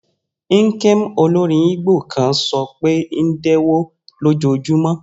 Nkem, olórin Igbo kan, sọ pé Ndewo lójoojúmọ́.